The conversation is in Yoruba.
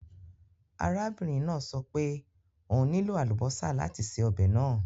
Arábìnrin náà sọ pé òun nílò àlùbọ́sà láti se ọbẹ̀ náà.